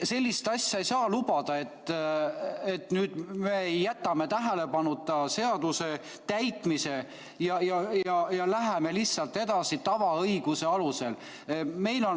Sellist asja ei saa lubada, et me jätame tähelepanuta seaduse täitmise ja läheme lihtsalt edasi tavaõiguse alusel.